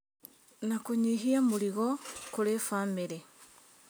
Na kũnyihia mũrigo kũrĩ bamĩrĩ